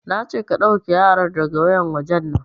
Nace ka ɗauke yaran daga wayar wajen nan!